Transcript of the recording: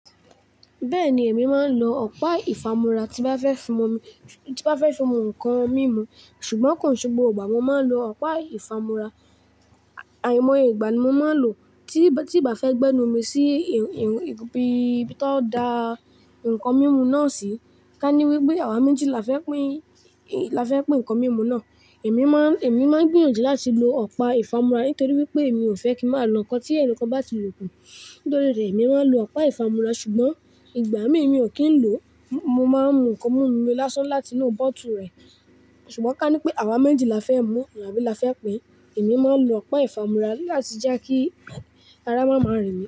Bẹ́ẹ̀ni èmi máa ń lo ọ̀pá ìfámúrá tí bá fẹ́ fi mú omi, tí bá fẹ́ fi mú nǹkan mímu. Ṣùgbọ́n kò ṣe gbogbo ìgbà ni mo máa lo ìfámúra. Àìmọ ìgbà ni mo máa ń lò tí, tí ì bá fẹ́ gbẹ́nu mi sí ii. Irun, ibi, ibi tán dà nǹkan mímu náà sí. Ká ní wípé àwa méjì la fẹ́ pín, la fẹ́ pín ǹkan mímu náà. Èmi máa ń, èmi máa ń gbìyànjú láti lo ọ̀pá ìfámúrá nítorí wípé èmi ò fẹ́ kí máa lo ǹkan tí ẹnì kan bá ti lò kú. Nítorí rẹ̀ èmi máa ń lo ọ̀pá ìfámúrá. Ṣùgbọ́n ìgbà mìí kí ń lò, mo máa ń mu ǹkan mímu mi lásán láti inú bótù rẹ̀. Ṣùgbọ́n ká ní pé àwa méjì la fẹ́ mú àbí la fẹ́ pín, èmi máa ń lo ọ̀pá ìfámúrá láti jẹ́ kí ara má máa rìn mí.